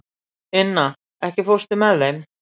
Inna, ekki fórstu með þeim?